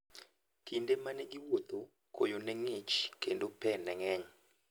Kinde ma ne giwuotho, koyo ne ng'ich, kendo pe ne ng'eny.